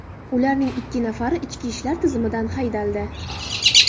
Ularning ikki nafari ichki ishlar tizimidan haydaldi.